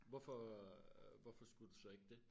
Hvorfor øh hvorfor skulle du så ikke dét?